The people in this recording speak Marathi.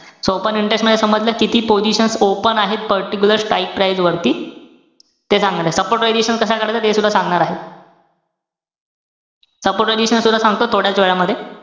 So open interest मध्ये समजलं? किती positions open आहेत, particular strike price वरती. ते . Support prediction कसा काढायचा तेसुद्धा सांगणार आहे. support prediction सुद्धा सांगतो थोड्याच वेळामध्ये,